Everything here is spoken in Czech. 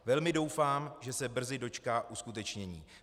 Velmi doufám, že se brzy dočká uskutečnění."